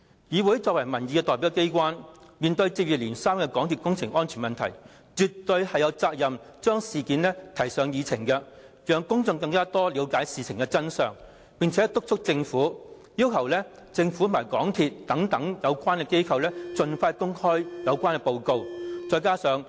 議會是民意代表機關，面對接二連三的港鐵公司工程安全問題，絕對有責任將事件提上議程，讓公眾更了解事件的真相，並且督促政府，要求政府和港鐵公司等有關機構盡快公開有關的報告。